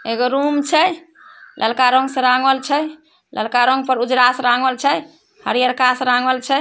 एगो रूम छै ललका रंग से रंगल छै ललका रंग पर उजरा से रंगल छै हरियरका से रंगल छै।